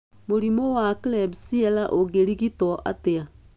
Mũrimũ wa Klebsiella ũngĩrigitwo atĩa?